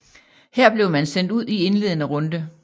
Her blev man sendt ud i indledende runde